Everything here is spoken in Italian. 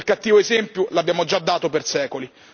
Quel cattivo esempio, l'abbiamo già dato per secoli.